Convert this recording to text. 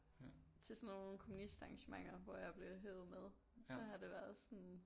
Til sådan nogle kommunistarrangementer hvor jeg er blevet hevet med så har det været sådan